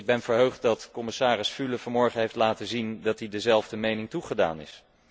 Ik ben verheugd dat commissaris Füle vanmorgen heeft laten zien dat hij dezelfde mening toegedaan is.